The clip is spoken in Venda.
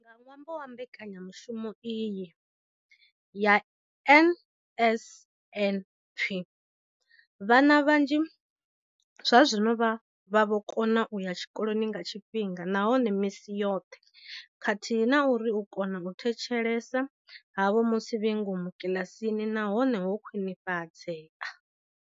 Nga ṅwambo wa mbekanyamushumo iyi ya NSNP, vhana vhanzhi zwazwino vha vho kona u ya tshikoloni nga tshifhinga nahone misi yoṱhe khathihi na uri u kona u thetshelesa havho musi vhe ngomu kiḽasini na hone ho khwinifhadzea.